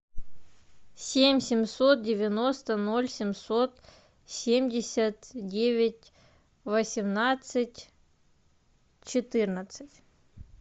семь семьсот девяносто ноль семьсот семьдесят девять восемнадцать четырнадцать